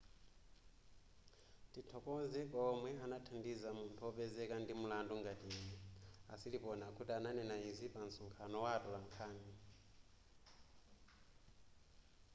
tithokoze kwa omwe anathandiza munthu wopezeka ndi mlandu ngati ine a siriporn akuti ananena izi pa nsonkhano wa atolankhani